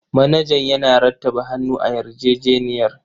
Manajan yana rattaba hannu a yarjejeniyar.